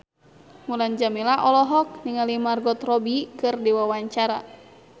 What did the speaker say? Mulan Jameela olohok ningali Margot Robbie keur diwawancara